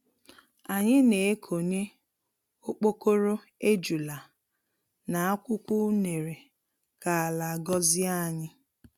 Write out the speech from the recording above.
Anyị na-ekonye okpokoro ejula n'akwukwọ unere ka ala gọzie anyị.